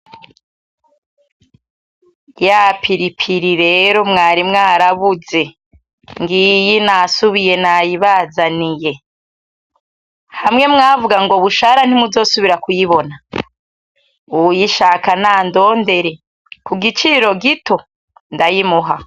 Ya Piripiri rero mwari mwarabuze, ngiyi nasubiye nayibazaniye. Hamwe mwavuga ngo Bushara ntimuzosubira kuyibona, uwuyishaka nandondere ku giciro gito ndayimuha.